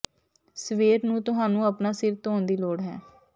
ਸਵੇਰ ਨੂੰ ਤੁਹਾਨੂੰ ਆਪਣਾ ਸਿਰ ਧੋਣ ਦੀ ਲੋੜ ਹੈ